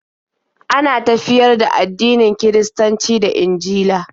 Ana tafiyar da addinin Kiristanci da Injila